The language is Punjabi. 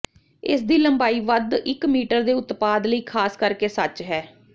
ਇਸ ਦੀ ਲੰਬਾਈ ਵੱਧ ਇੱਕ ਮੀਟਰ ਦੇ ਉਤਪਾਦ ਲਈ ਖਾਸ ਕਰਕੇ ਸੱਚ ਹੈ